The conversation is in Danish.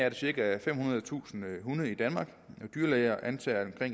er cirka femhundredetusind hunde i danmark dyrlæger antager at